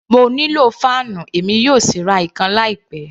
Mo nílò fáànù, èmi yóò sì ra ìkan láì pẹ.